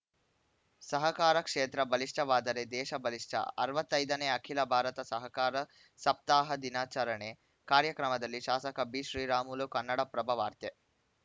ಸಹಕಾರ ಕ್ಷೇತ್ರ ಬಲಿಷ್ಠವಾದರೆ ದೇಶ ಬಲಿಷ್ಠ ಅರವತ್ತ್ ಐದನೇ ಅಖಿಲ ಭಾರತ ಸಹಕಾರ ಸಪ್ತಾಹ ದಿನಾಚರಣೆ ಕಾರ್ಯಕ್ರಮದಲ್ಲಿ ಶಾಸಕ ಬಿ ಶ್ರೀರಾಮುಲು ಕನ್ನಡ ಪ್ರಭ ವಾರ್ತೆ